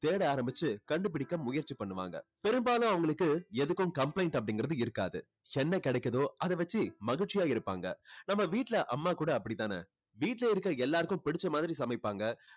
தேட ஆரம்பிச்சு கண்டுபிடிக்க முயற்சி பண்ணுவாங்க. பெரும்பாலும் அவங்களுக்கு எதுக்கும் complaint அப்படிங்கிறது இருக்காது. என்ன கிடைக்குதோ அதை வச்சு மகிழ்ச்சியா இருப்பாங்க. நம்ம வீட்ல அம்மா கூட அப்படித்தானே. வீட்டுல இருக்க எல்லாருக்கும் புடிச்ச மாதிரி சமைப்பாங்க.